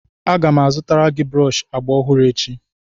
Aga m azụtara gị brọọshị agba ọhụrụ echi